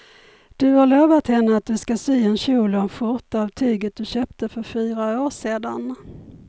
Du har lovat henne att du ska sy en kjol och skjorta av tyget du köpte för fyra år sedan.